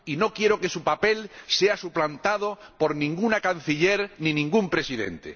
No quiero que su papel sea suplantado por ninguna canciller ni ningún presidente.